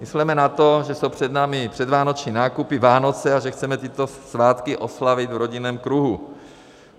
Mysleme na to, že jsou před námi předvánoční nákupy, Vánoce, a že chceme tyto svátky oslavit v rodinném kruhu.